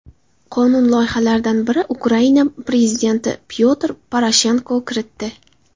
Qonun loyihalaridan birini Ukraina prezidenti Pyotr Poroshenko kiritdi.